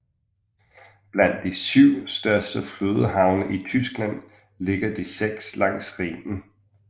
Blandt de syv største flodhavne i Tyskland ligger de seks langs Rhinen